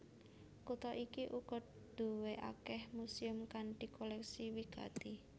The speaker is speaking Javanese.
Kutha iki uga duwé akèh muséum kanthi kolèksi wigati